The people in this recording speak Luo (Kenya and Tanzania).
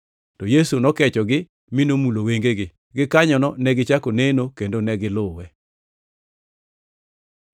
Yesu nokechogi, mi nomulo wengegi. Gikanyono negichako neno, kendo ne giluwe.